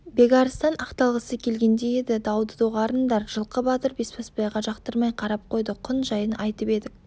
бекарыстан ақталғысы келгендей еді дауды доғарындар жылқы батыр бесбасбайға жақтырмай қарап қойды құн жайын айтып едік